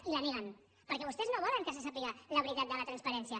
i les neguen perquè vostès no volen que se sàpiga la veri·tat de la transparència